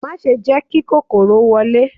Má ṣe jẹ́ kí kòkòrò wọlé